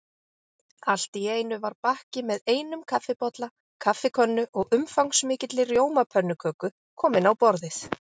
Allt í einu var bakki með einum kaffibolla, kaffikönnu og umfangsmikilli rjómapönnuköku kominn á borðið.